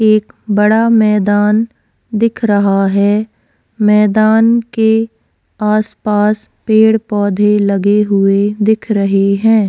एक बड़ा मैदान दिख रहा है मैदान के आस-पास पेड़-पौधे लगे हुए दिख रहे हैं।